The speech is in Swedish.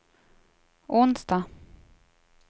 onsdag